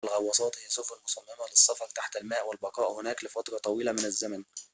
الغواصات هي سفن مصممة للسفر تحت الماء والبقاء هناك لفترة طويلة من الزمن